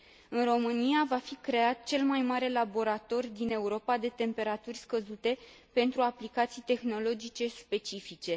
În România va fi creat cel mai mare laborator din Europa de temperaturi scăzute pentru aplicații tehnologice specifice.